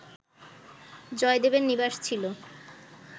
জয়দেবের নিবাস ছিল